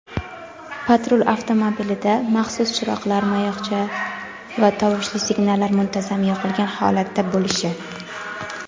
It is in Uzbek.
patrul avtomobilida maxsus chiroq-mayoqcha va tovushli signallar muntazam yoqilgan holatda bo‘lishi;.